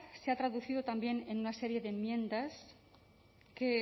se ha traducido también en una serie de enmiendas que